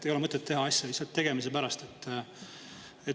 Ei ole mõtet teha asju lihtsalt tegemise pärast.